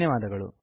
ಧನ್ಯವಾದಗಳು